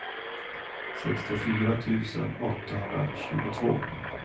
sextiofyra tusen åttahundratjugotvå